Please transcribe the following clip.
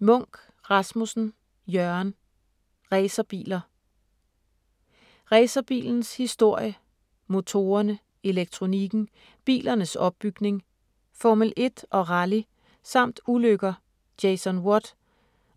Munck Rasmussen, Jørgen: Racerbiler Racerbilens historie, motorerne, elektronikken, bilernes opbygning, Formel-1 og rally samt ulykker (Jason Watt)